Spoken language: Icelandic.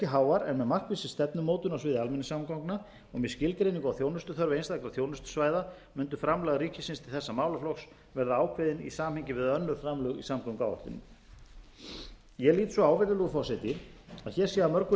háar en að markvissri stefnumótun á sviði almenningssamgangna og með skilgreiningu á þjónustuþörf einstakra þjónustusvæða mundi framlag ríkisins til þessa málaflokks verða ákveðin í samhengi við önnur framlög í samgönguáætlun ég lít svo á virðulegur forseti að hér sé að mörgu